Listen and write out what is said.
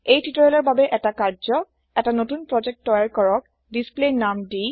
এই টিউটৰিয়েল ৰ বাবে এটা কাৰ্য্য এটা নতুন প্ৰোজেক্ট তৈয়াৰ কৰক ডিছপ্লে নাম দি